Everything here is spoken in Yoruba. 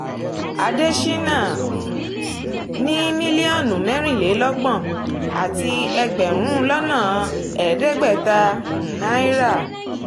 àdéṣínà um ní mílíọ̀nù mẹ́rìnlélọ́gbọ̀n àti ẹgbẹ̀rún lọ́nà ẹ̀ẹ́dẹ́gbẹ̀ta um náírà